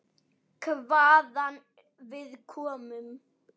Hvaðan við komum.